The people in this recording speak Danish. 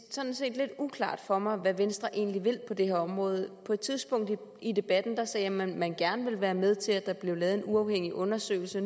sådan set lidt uklart for mig hvad venstre egentlig vil på det her område på et tidspunkt i debatten sagde man at man gerne ville være med til at der blev lavet en uafhængig undersøgelse